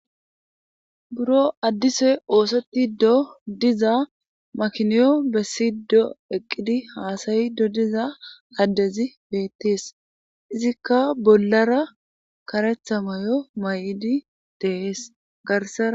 Buro addise oosetido diza makiniyo besido eqidi hasayido diza addezi beetes izoka bollara karetha mayo mayidi dees.